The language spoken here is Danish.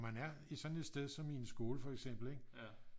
Man er i sådan et sted som i en skole fx ikke